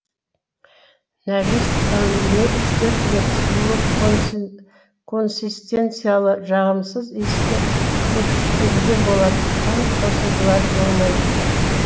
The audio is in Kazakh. нәжіс тәулігіне үш төрт рет сулы консистенциялы жағымсыз иісті көпіршіктенген болады қан қосындылары болмайды